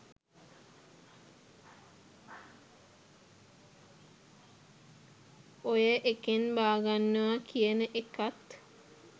ඔය එකෙන් බාගන්නවා කියන එකත්